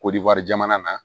Kodiwari jamana na